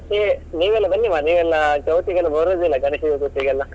ಏ ನೀವೆಲ್ಲ ಬನ್ನಿ ಮಾರೇ, ನೀವೆಲ್ಲ ಚೌತಿಗೆಲ್ಲ ಬರುದಿಲ್ಲ ಗಣೇಶ್ ಚತುರ್ಥಿಗೆಲ್ಲ.